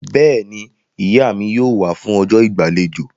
Bẹ́ẹ̀ni, Ìyá mi yóò wá fún ọjọ́ ìgbàlejò